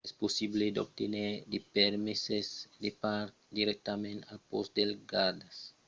es possible d'obténer de permeses de parc dirèctament al pòst dels gardas del bòsc a puerto jiménez mas accèptan pas las cartas de crèdit